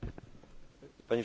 Panie Przewodniczący!